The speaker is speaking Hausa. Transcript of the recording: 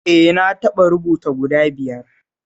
Eh na taɓa rubuta guda biyar